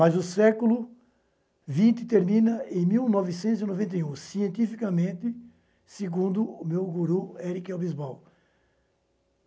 Mas o século vinte termina em mil novecentos e noventa e um, cientificamente, segundo o meu guru, Eric Hobsbawm